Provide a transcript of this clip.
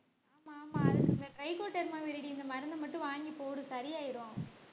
ஆமா ஆமா அதுக்கு இந்த trichoderma viridie இந்த மருந்த மட்டும் வாங்கி போடு சரியாயிடும்